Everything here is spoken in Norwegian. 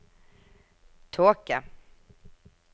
tåke